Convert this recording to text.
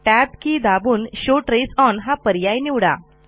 tab key दाबून show trace onहा पर्याय निवडा